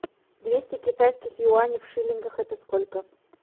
двести китайских юаней в шиллингах это сколько